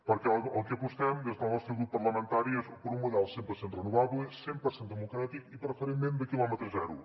perquè pel que apostem des del nostre grup parlamentari és per un model cent per cent renovable cent per cent democràtic i preferentment de quilòmetre zero